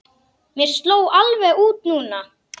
Mér sló alveg út núna.